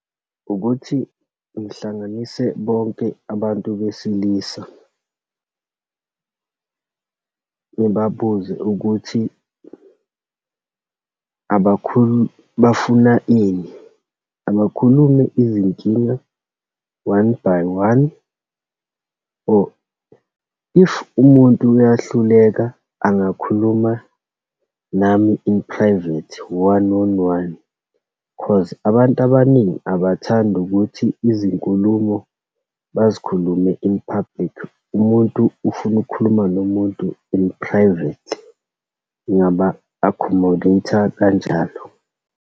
Ukuthi ngihlanganise bonke abantu besilisa. Ngibabuze ukuthi bafuna ini, abakhulume izinkinga one by one, or if umuntu uyahluleka, angakhuluma nami in-private, one on one. Cause abantu abaningi abathandi ukuthi izinkulumo bazikhulume in-public, umuntu ufuna ukukhuluma nomuntu in-private. Ngingaba-accommodate-a kanjalo.